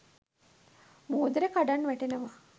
මුහුදට කඩන් වැටෙනව.